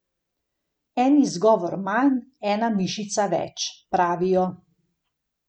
En izgovor manj, ena mišica več, pravijo.